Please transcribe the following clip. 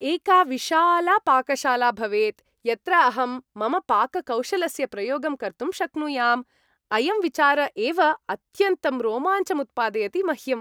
एका विशाला पाकशाला भवेत् यत्र अहं मम पाककौशलस्य प्रयोगं कर्तुं शक्नुयाम् । अयं विचार एव अत्यन्तं रोमाञ्चमुत्पादयति मह्यम् ।